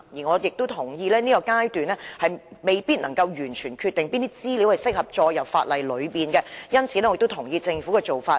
我同意現階段當局未必能夠完全決定哪些資料適合列入法例，因此我亦同意政府的做法。